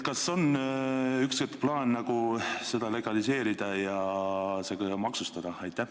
Kas on plaanis ühel hetkel see legaliseerida ja seda ka maksustada?